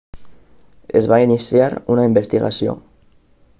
es va iniciar una investigació